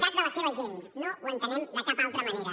tat de la seva gent no ho entenem de cap altra manera